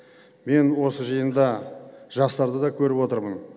мен осы жиында жастарды да көріп отырмын